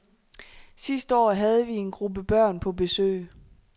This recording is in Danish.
Sidste år havde vi en gruppe børn på besøg.